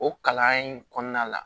O kalan in kɔnɔna la